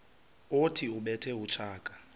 othi ubethe utshaka